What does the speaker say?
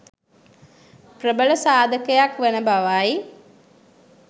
ප්‍රබල සාධකයක් වන බව යි.